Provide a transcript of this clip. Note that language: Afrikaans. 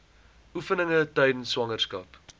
oefeninge tydens swangerskap